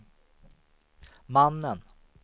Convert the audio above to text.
mannen